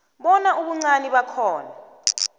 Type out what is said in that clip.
bona ubuncani bakhona